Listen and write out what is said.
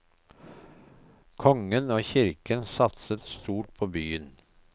Kongen og kirken satset stort på byen.